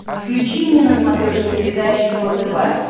включи мне на смотрешке передачу его тв